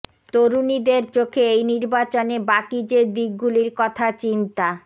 তরুণীদের চোখে এই নির্বাচনে বাকি যে দিকগুলির কথা চিন্তা